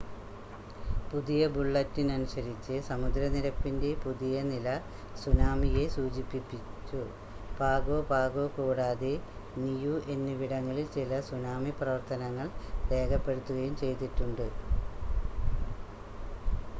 പുതിയ ബുള്ളറ്റിനനുസരിച്ച് സമുദ്ര നിരപ്പിൻ്റെ പുതിയ നില സുനാമിയെ സൂചിപ്പിച്ചു പാഗോ പാഗോ കൂടാതെ നിയൂ എന്നിവിടങ്ങളിൽ ചില സുനാമി പ്രവർത്തനങ്ങൾ രേഖപ്പെടുത്തുകയും ചെയ്തിട്ടുണ്ട്